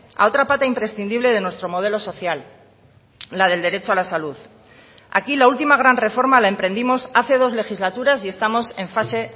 a otra pata imprescindible de nuestro modelo social la del derecho a la salud aquí la última gran reforma la emprendimos hace dos legislaturas y estamos en fase